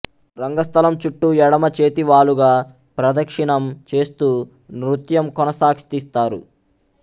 రంగ స్థలం చుట్టు ఎడమ చేతి వాలుగా ప్రదక్షిణం చేస్తూ నృత్యం కొనసాగ్తిస్తారు